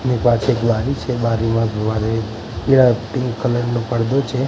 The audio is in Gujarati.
અને પાછળ એક બારી છે બારીમાં જોવા જઈ પીળા પીંક કલર નો પડદો છે.